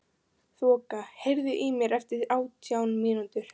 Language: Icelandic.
Þoka, heyrðu í mér eftir átján mínútur.